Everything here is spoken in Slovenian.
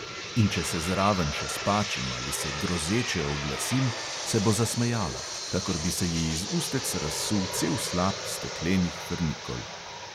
In če se zraven še spačim ali se grozeče oglasim, se bo zasmejala – kakor bi se ji iz ustec razsul cel slap steklenih frnikol.